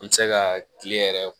N mi se ka kile yɛrɛ